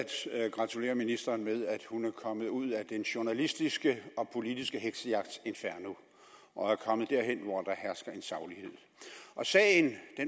gratulere ministeren med at hun er kommet ud af den journalistiske og politiske heksejagts inferno og er kommet derhen hvor der hersker en saglighed og sagen